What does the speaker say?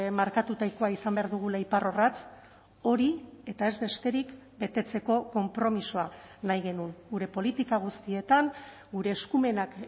markatutakoa izan behar dugula iparrorratz hori eta ez besterik betetzeko konpromisoa nahi genuen gure politika guztietan gure eskumenak